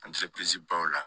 baw la